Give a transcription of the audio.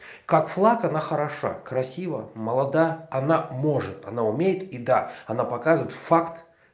как флаг она хороша красива молода она может она умеет и да она показывает факт